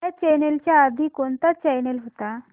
ह्या चॅनल च्या आधी कोणता चॅनल होता